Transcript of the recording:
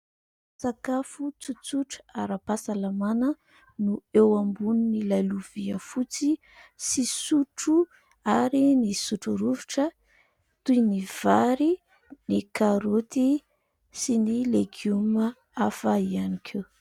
Sakafo tsotsotra aram-pahasalamana no eo ambonin'ilay lovia fotsy sy sotro ary ny sotro rovitra toy ny vary, ny karaoty sy ny legioma hafa ihany koa.